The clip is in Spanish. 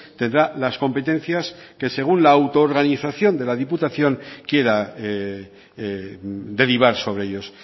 tendrá las competencias que según la auto organización de la diputación quiera derivar sobre ellos